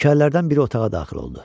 Nökərlərdən biri otağa daxil oldu.